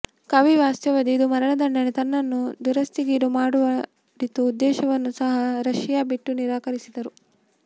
ಕವಿ ವಾಸ್ತವ್ಯದ ಇದು ಮರಣದಂಡನೆ ತನ್ನನ್ನು ದುರವಸ್ಥೆಗೀಡುಮಾಡಿತು ಉದ್ದೇಶವನ್ನು ಸಹ ರಶಿಯಾ ಬಿಟ್ಟು ನಿರಾಕರಿಸಿದರು